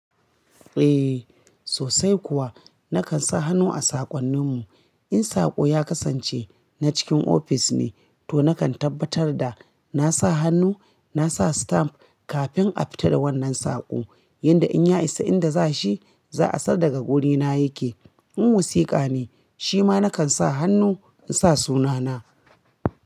Eh sosai kuwa. Nakan sa hannu a saƙonninmu. In saƙo ya kasance na cikin ofis ne, to nakan tabbatar da na sa hannu, na sa stamp kafin a fita da wannan saƙo. Yanda in ya isa inda za shi, za a san daga wurina ya ke. In wasiƙa ne, shi ma nakan sa hannu in sa sunana.